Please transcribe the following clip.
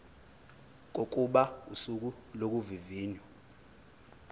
kokuba usuku lokuvivinywa